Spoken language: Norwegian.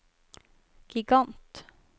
gigant